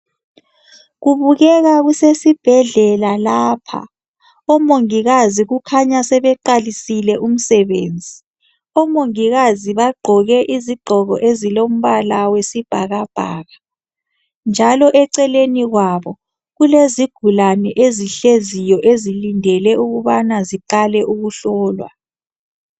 Kubukeka kusesibhedlela lapha omongikazi kukhanya sebeqalisile umsebenzi omongikazi bagqoke izigqoko ezilombala wesibhakabhaka njalo eceleni kwabo kulezigulane ezihleziyo ezilindele ukubana ziqale ukuhlolwa